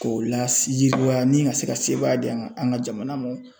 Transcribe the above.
K'o la yiriwa nin ka se ka sebaaya di an man an ka jamana mɔn